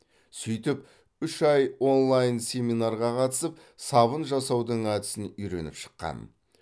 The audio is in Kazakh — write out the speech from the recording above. сөйтіп үш ай онлайн семинарға қатысып сабын жасаудың әдісін үйреніп шыққан